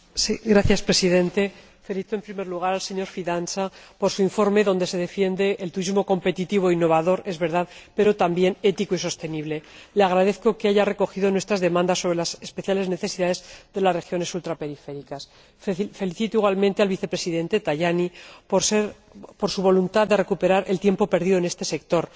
Señor Presidente, felicito en primer lugar al señor Fidanza por su informe, en el que se defiende el turismo competitivo e innovador, es verdad, pero también ético y sostenible. Le agradezco que haya recogido nuestras demandas sobre las especiales necesidades de las regiones ultraperiféricas. Felicito, igualmente, al Vicepresidente Tajani por su voluntad de recuperar el tiempo perdido en este sector.